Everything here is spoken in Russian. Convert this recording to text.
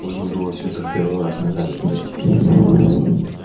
нужно было всё это в первый раз ногами пройти